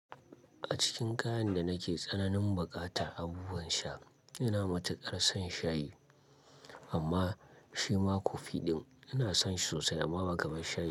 A cikin kayan da nake tsananin buƙata abubuwan sha, ina matuƙar son shayi amma shi ma kofi ɗin ina son shi sosai amma ba kamar shayi.